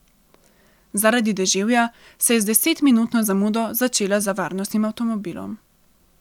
Zaradi deževja se je z desetminutno zamudo začela za varnostnim avtomobilom.